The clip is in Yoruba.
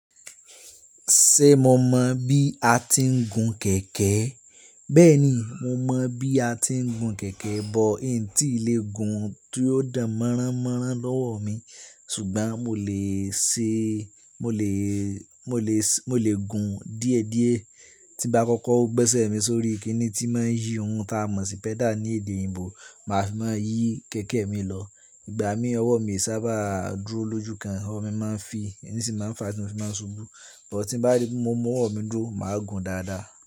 Ṣé mo mọ bí a ti ń gun kẹ̀kẹ́? Bẹ́ẹ̀ni mo mọ bí a ti ń gun kẹ̀kẹ́, but un tí ì lè gun tí o dá mọ́rá mọ́rá lọ́wọ mi, ṣùgbọ́n mo lè ṣe, mo lè, mo lè, mo lè gun díẹ̀ díẹ̀. Tí bá kọ́kọ́ ó gbẹ́sẹ̀ mi sórí, kíni tí máa ń yí ohun táa mọ̀ sí pẹ́dà ní èdè òyìnbó, màá fi máa yí kẹ̀kẹ́ mi lọ. Ìgbà mí ọwọ́ mi sábà dúró lójú kan, ọwọ́ mi máa ń fi, ẹní sì máa ń fà á, tí mo fi máa ń ṣubú. But tí bá ri pe mo mọ ọwọ́ mi dúró, màá gun dáadáa.